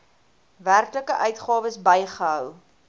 werklike uitgawes bygehou